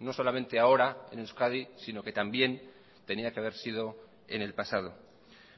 no solamente ahora en euskadi sino que también tenía que haber sido en el pasado